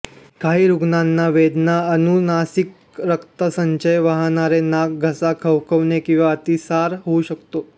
काही रुग्णांना वेदना अनुनासिक रक्तसंचय वाहणारे नाक घसा खवखवणे किंवा अतिसार होऊ शकतो